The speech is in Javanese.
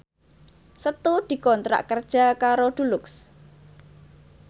Setu dikontrak kerja karo Dulux